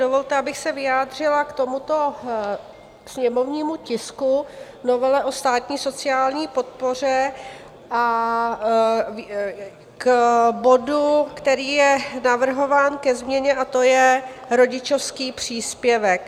Dovolte, abych se vyjádřila k tomuto sněmovnímu tisku, novele o státní sociální podpoře, a k bodu, který je navrhován ke změně, a to je rodičovský příspěvek.